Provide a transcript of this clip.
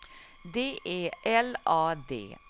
D E L A D